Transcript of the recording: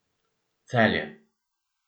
Celje.